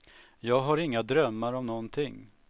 Jag har inga drömmar om nånting.